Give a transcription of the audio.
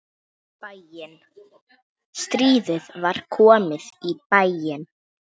Aldrei fundið meiri nánd.